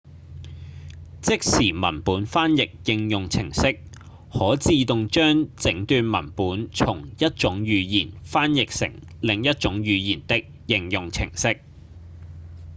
即時文本翻譯應用程式–可自動將整段文本從一種語言翻譯成另一種語言的應用程式